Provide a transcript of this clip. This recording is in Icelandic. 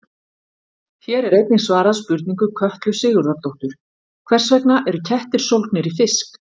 Hér er einnig svarað spurningu Kötlu Sigurðardóttur: Hvers vegna eru kettir sólgnir í fisk?